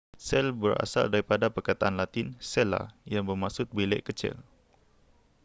sel berasal daripada perkataan latin cella yang bermaksud bilik kecil